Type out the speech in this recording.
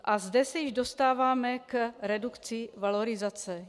A zde se již dostáváme k redukci valorizace.